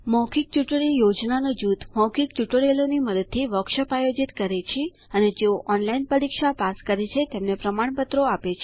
મૌખિક ટ્યુટોરિયલ યોજનાનું જૂથ મૌખિક ટ્યુટોરિયલોની મદદથી વર્કશોપ્સ આયોજિત કરે છે અને જેઓ ઓનલાઇન પરીક્ષા પાસ કરે છે તેને પ્રમાણપત્રો આપે છે